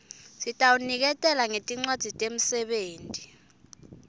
sitawuniketela ngetincwadzi temsebenti